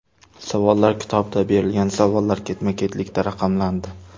Savollar kitobida berilgan savollar ketma-ketlikda raqamlandi.